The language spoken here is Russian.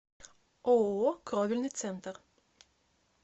ооо кровельный центр